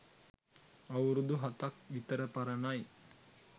අවුරුදු හතක් විතර පරණයි